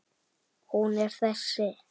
Hún er þessi